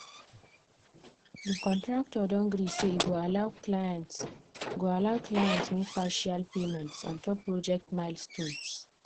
the contractor don gree say e go allow client go allow client make partial payments ontop project milestones.